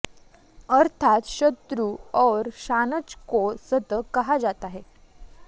अर्थात् शतृ और शानच् को सत् कहा जाता है